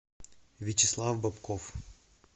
вячеслав бобков